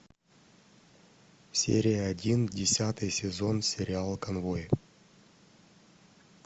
серия один десятый сезон сериала конвой